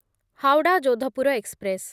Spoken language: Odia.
ହାୱଡ଼ା ଯୋଧପୁର ଏକ୍ସପ୍ରେସ୍